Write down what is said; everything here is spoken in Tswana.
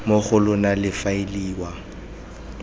mo go lona le faeliwa